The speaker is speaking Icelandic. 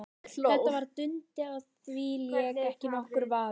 Þetta var Dundi, á því lék ekki nokkur vafi.